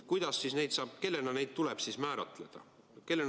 Kuidas ja kellena neid siis tuleb määratleda?